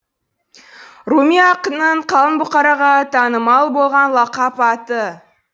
руми ақынның қалың бұқараға танымал болған лақап аты